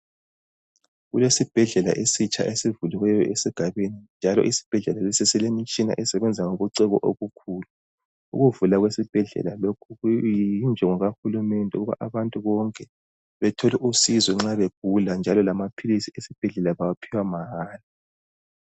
Kulesi bhedlela esitsha esivuliweyo esigabeni, njalo isibhedlela lesi silemitshina esebenza ngobuciko obukhulu, ukuvula kwesibhedlela lokhu kuyinjongo kahulumende ukuba abantu bonke bethole usizo nxa abantu begula njalo lamaphilisi esibhedlela bawaphiwa mahara.